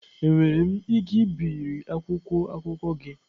Enwere m ike ibiri akwụkwọ akụkọ gị?